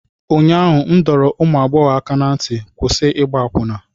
ụnyaahụ m dọrọ ụmụ agbọghọ aka ná ntị, kwụsị ịgba akwụna!